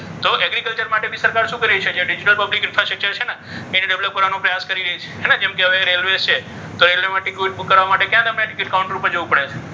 તો એગ્રીકલ્ચર માટે સરકાર શું કરે છે? કે જ્યાં ડિજિટલ એને develop કરવાનો પ્રયાસ કરી રહી છે. કેમકે હવે રેલ્વે છે તો રેલવેમાં ટિકિટ બુક કરવા માટે ત્યાં તમે ટિકિટ કાઉન્ટર પર જવું પડે છે.